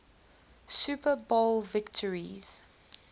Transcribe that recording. super bowl victories